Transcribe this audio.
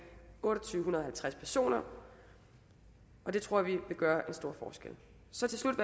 to tusind og halvtreds personer og det tror vi vil gøre en stor forskel så til slut